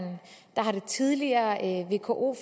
der er en kort